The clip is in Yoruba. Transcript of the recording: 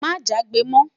má jagbe mọ